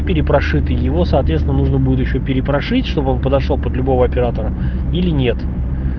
перепрошитый его соответственно нужно будет ещё перепрошить чтобы он подошёл под любого оператора или нет